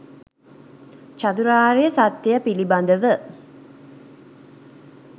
චතුරාර්ය සත්‍යය පිළිබඳව